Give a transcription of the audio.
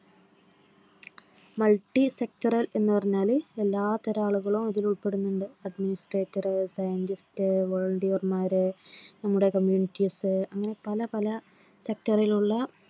multi sector എന്നുപറഞ്ഞാൽ എല്ലാത്തരം ആളുകൾ അതിൽ ഉൾപ്പെടുന്നു administrator, scientist, volunteer, മാർ നമ്മുടെ communitys സ് അങ്ങനെ പലപല sector ൽ ഉള്ള